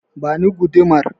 Ba ni gudumar!